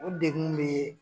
O degun be